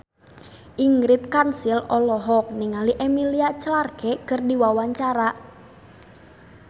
Ingrid Kansil olohok ningali Emilia Clarke keur diwawancara